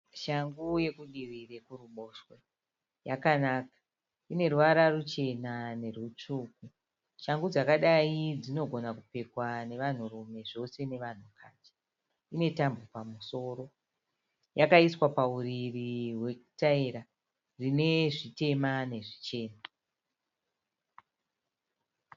Shangu yekudivi rwekuruboshwe. Yakanaka. Ine ruvara ruchena nerutsvuku Shangu dzakadai dzinogona kupfekwa nevanhurume zvose navanhukadzi. Ine tambo pamusoro. Yakaiswa pauriri rwetaira rine zvitema nezvichena.